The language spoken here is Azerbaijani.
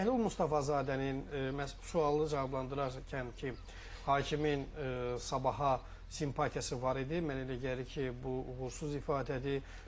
Bəhlul Mustafazadənin məhz sualı cavablandırarkənki hakimin sabaha simpatiyası var idi, mən elə gəlir ki, bu uğursuz ifadədir.